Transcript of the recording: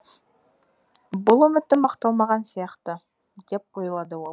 бұл үмітім ақталмаған сияқты деп ойлады ол